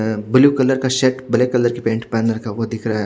अ blue colour का shirt black colour की pant पहन रखा है वो दिख रहा है।